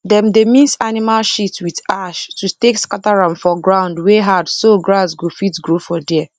dem dey mix animal shit with ash to take scatter am for ground wey hardso grass go fit grow for there